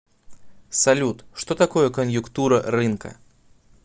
салют что такое коньюктура рынка